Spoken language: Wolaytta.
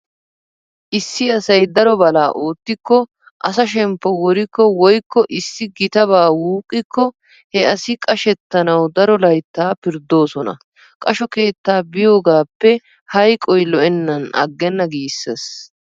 Issi asay daro balaa oottikko asa shemppo worikko woykko issi gitabaa wuuqqikko he asi qashettanawu daro layttaa pirddoosona. Qasho keettaa biyoogaappe hayqoy lo'ennan aggenna giissees.